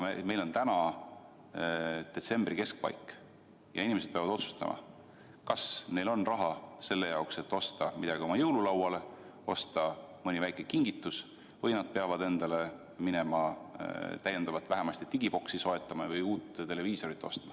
Meil on käes detsembri keskpaik ja inimesed peavad otsustama, kas nad kulutavad raha selle jaoks, et osta midagi oma jõululauale, osta mõni väike kingitus või nad peavad ostma midagi täiendavat, et televiisorit näha, vähemasti digiboksi soetama või lausa uue televiisori.